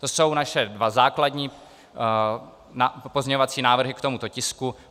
To jsou naše dva základní pozměňovací návrhy k tomuto tisku.